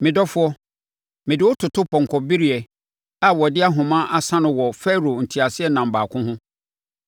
Me dɔfoɔ, mede wo toto pɔnkɔ bereɛ a wɔde ahoma asa no wɔ Farao nteaseɛnam baako ho.